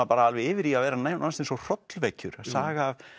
bara alveg yfir í að vera nánast hrollvekjur saga